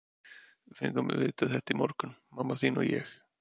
Við fengum að vita þetta í morgun, mamma þín og ég.